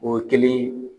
O ye kelen ye